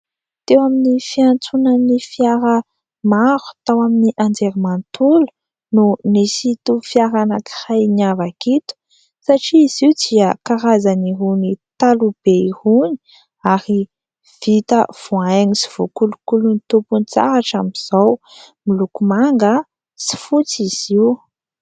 Teo amin'ny fiantsonan'ny fiara maro tao amin'ny anjerimanontolo no nisy ito fiara anankiray niavaka ito, satria izy io dia karazan'irony taloha be irony, ary vita voahaingo sy voakolokolon'ny tompony tsara hatramin'izao. Miloko manga sy fotsy izy io.